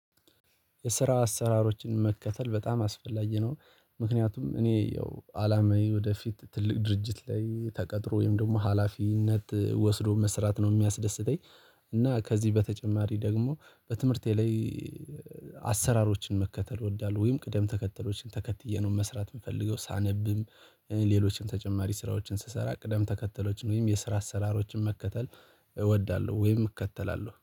የስራ አሰራሮችን መከተል በጣም አስፈላጊ ነው ምክንያቱም እኔ ያው አላማዬ ወደፊት ትልቅ ድርጅት ላይ ተቀጥሮ ወይም ደግሞ ሀላፊነት ወስዶ መስራት ነው የሚያስደስተኝ። እና ከዚህ በተጨማሪ ደግሞ በትምህርቴ ላይ አሰራሮችን መከተል እወዳለሁ ወይም ቅደም ተከተሎችን ተከትዬ ነው መስራት የምፈልገው። ሳነብም ሌሎችን ተጨማሪ ስራዎችን ስሰራ ቅደም ተከተሎችን ወይም የስራ አሰራሮችን መከተል እወዳለሁ ወይም እከተላለሁ